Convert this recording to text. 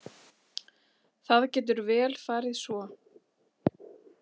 Það getur vel farið svo.